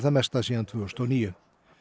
mesta síðan tvö þúsund og níu